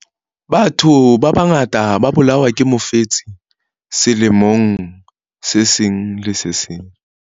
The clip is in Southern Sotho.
Batho ba bangata ba bolawa ke mofetshe selemong se seng le se seng.